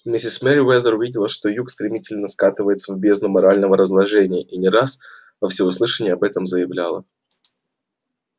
миссис мерриуэзер видела что юг стремительно скатывается в бездну морального разложения и не раз во всеуслышание об этом заявляла